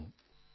phone call 3